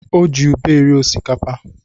O ji ube eri osikapa.